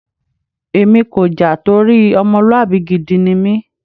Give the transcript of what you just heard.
Èmi kò jà torí ọmọlúwàbí gidi ni mí.